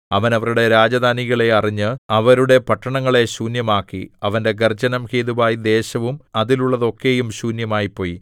അവൻ അവരുടെ രാജധാനികളെ അറിഞ്ഞ് അവരുടെ പട്ടണങ്ങളെ ശൂന്യമാക്കി അവന്റെ ഗർജ്ജനം ഹേതുവായി ദേശവും അതിലുള്ളതൊക്കെയും ശൂന്യമായിപ്പോയി